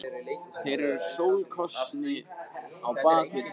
Þeir eru sólskinið á bak við heiminn.